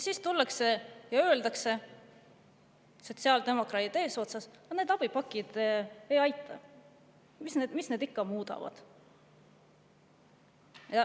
Siis tullakse ja öeldakse sotsiaaldemokraatidega eesotsas, et need abipakid ei aita, mis need ikka muudavad.